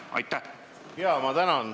Ma tänan!